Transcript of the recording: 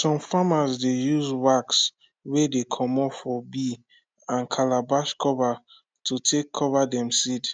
some farmer dey use wax wey dey comot for bee and calabash cover to take cover dem seed